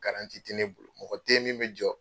te ne bolo, mɔgɔ te ye min bɛ jɔ